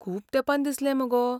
खूब तेंपान दिसलें मगो.